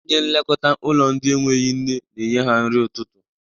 Onye nlekọta ụlọ ndị enweghi nne na-enye ha nri ụtụtụ.